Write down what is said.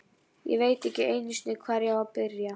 Ég veit ekki einu sinni, hvar ég á að byrja.